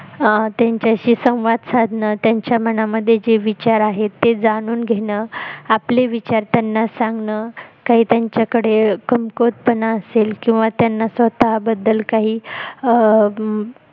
आह त्यांच्याशी संवाद साधनं त्यांच्या मनामध्ये जे विचार आहेत ते जाणून घेणं आपले विचार त्यांना सांगणं काही त्यांच्याकडे कमकुवत पणा असेल किंवा त्यांना स्वतः बद्दल काही आह अं